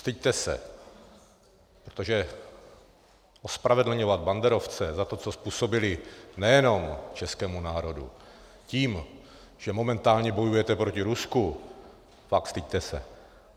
Styďte se, protože ospravedlňovat banderovce za to, co způsobili nejenom českému národu, tím, že momentálně bojujete proti Rusku, fakt, styďte se!